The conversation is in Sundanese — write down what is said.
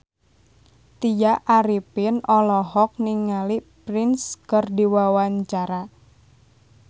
Tya Arifin olohok ningali Prince keur diwawancara